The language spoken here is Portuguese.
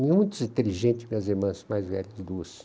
Muitos inteligentes, minhas irmãs, mais velhas de duas.